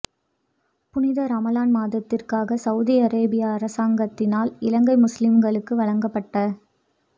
புனித ராமழான் மாதத்துக்காக சவூதி அரேபியா அரசாங்கத்தினால் இலங்கை முஸ்லிம்களுக்கு வழங்கப்பட்ட